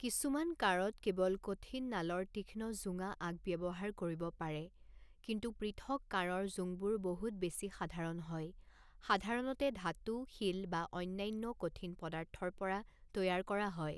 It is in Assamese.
কিছুমান কাঁড়ত কেৱল কঠিন নালৰ তীক্ষ্ণ জোঙা আগ ব্যৱহাৰ কৰিব পাৰে, কিন্তু পৃথক কাঁড়ৰ জোংবোৰ বহুত বেছি সাধাৰণ হয়, সাধাৰণতে ধাতু, শিল বা অন্যান্য কঠিন পদাৰ্থৰ পৰা তৈয়াৰ কৰা হয়।